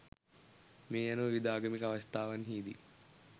මේ අනුව විවිධ ආගමික අවශ්‍යතාවන්හිදී